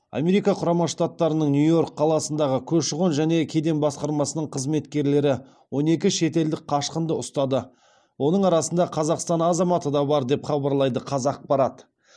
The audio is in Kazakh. америка құрама штаттарының нью йорк қаласындағы көші қон және кеден басқармасының қызметкерлері он екі шетелдік қашқынды ұстады оның арасында қазақстан азаматы да бар деп хабарлайды қазақпарат